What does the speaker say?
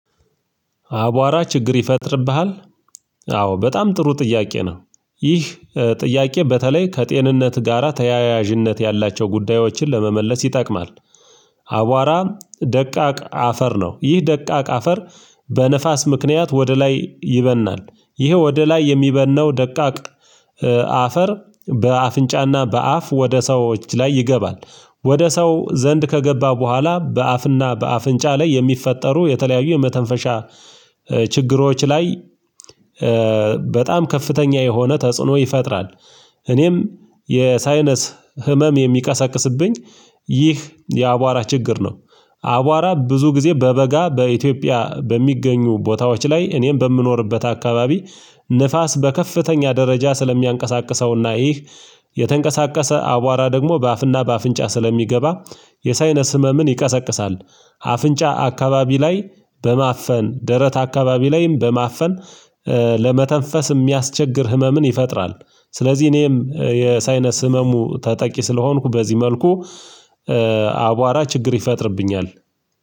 አቧራ ችግር ይፈጥርብሃል? አዎ በጣም ጥሩ ጥያቄ ነው ይህ ጥያቄ በተለይ ከጤንነት ጋራ ተያያዥነት ያላቸው ጉዳዮችን ለመመለስ ይጠቅማል። አቧራ ደቃቅ አፈር ነው ይህ ደቃቅ አፈር በንፋስ ምክንያት ወደ ላይ ይበናል ይሄ ወደ ላይ የሚበነው ደቃቅ አፈር አፈር በአፍንጫና በአፍ ወደ ሰዎች ላይ ይገባል ወደ ሰው ዘንድ ከገባ በኋላ በአፍና በአፍንጫ ላይ የሚፈጠሩ የተለያዩ የመተንፈሻ ችግሮች ላይ በጣም ከፍተኛ የሆነ ተጽዕኖ ይፈጥራል። እኔም የሳይነስ ህመም የሚቀሳቅስብኝ ይህ የአቧራ ችግር ነው። አቧራ ብዙ ጊዜ በበጋ በኢትዮጵያ በሚገኙ ቦታዎች ላይ እኔም በምኖርበት አካባቢ ንፋስ በከፍተኛ ደረጃ ስለሚያንቀሳቅሰውና ይህ የተንቀሳቀሰ አቧራ ደግሞ በአፍና በአፍንጫ ስለሚገባ የሳይነስ ህመምን ይቀሰቅሳል። አፍንጫ አካባቢ ላይ በማፈን ደረት አካባቢ ላይም በማፈን ለመተንፈስ የሚያስቸግር ህመምን ይፈጥራል። ስለዚህ እኔም የሳይነስ ህመሙ ተጠቂ ስለሆንኩ በዚህ መልኩ አቧራ ችግር ይፈጥርብኛል።